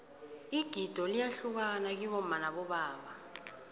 igido liyahluka kibomma nabobaba